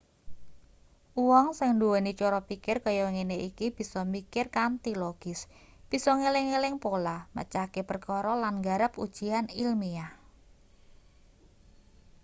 wong sing nduweni cara pikir kaya ngene iki bisa mikir kanthi logis bisa ngeling-eling pola mecahke perkara lan nggarap ujian ilmiah